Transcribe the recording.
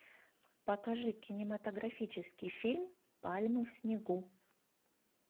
покажи кинематографический фильм пальмы в снегу